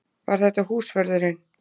Var þetta húsvörðurinn?